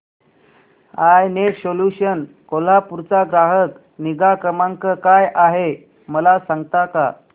I net solutions Kolhapur चा ग्राहक निगा क्रमांक काय आहे मला सांगता का